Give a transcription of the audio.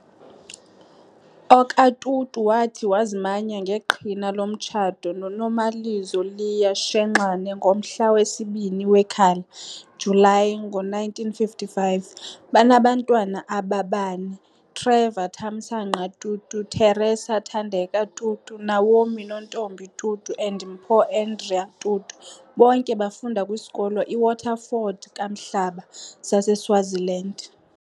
OkaTutu wathi wazimanya ngeqhina lomtshato noNomalizo Leah Shenxane ngomhla wesibini Wekhala, July, ngo-1955. Banabantwana ababane- Trevor Thamsanqa Tutu, Theresa Thandeka Tutu, Naomi Nontombi Tutu and Mpho Andrea Tutu, bonke bafunda kwiskolo iWaterford Kamhlaba saseSwaziland.